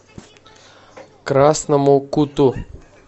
красному куту